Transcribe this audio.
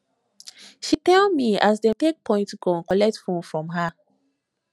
she tell me as dem take point gun collect her fone from her